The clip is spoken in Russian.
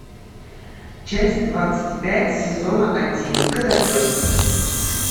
часть двадцать пять сезона один котопес